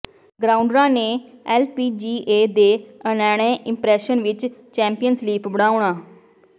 ਗਰਾਊਂਡਰਾਂ ਨੇ ਐਲਪੀਜੀਏ ਦੇ ANA impression ਵਿਚ ਚੈਂਪੀਅਨਜ਼ ਲੀਪ ਬਣਾਉਣਾ